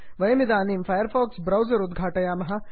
वयमिदानीं Firefox browser उद्घाटयामः